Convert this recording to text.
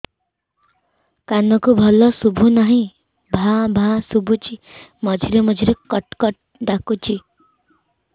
କାନକୁ ଭଲ ଶୁଭୁ ନାହିଁ ଭାଆ ଭାଆ ଶୁଭୁଚି ମଝିରେ ମଝିରେ କଟ କଟ ଡାକୁଚି